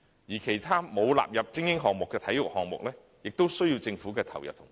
而其他沒有納入為精英項目的體育項目，亦需要政府的投入和支持。